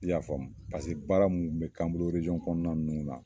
I y'a fɔ paseke baara mu be k'an bolo eresɔn kɔnɔna ninnu la